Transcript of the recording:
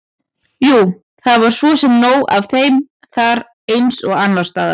Jú, það var svo sem nóg af þeim þar eins og annars staðar.